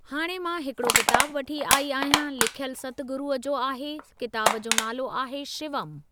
हाणे मां हिकिड़ो किताबु वठी आई आहियां लिखयलु सतगुरुअ जो आहे किताब जो नालो आहे शिवम।